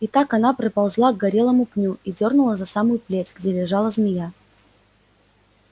и так она приползла к горелому пню и дёрнула за самую плеть где лежала змея